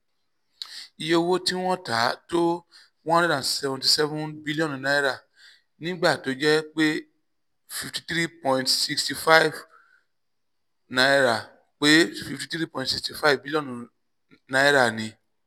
iye owó tí wọ́n tà tó n one hundred seventy seven bílíọ̀nù nígbà tó sì jẹ́ pé n fifty three point six five pé n fifty three point six five bílíọ̀nù ni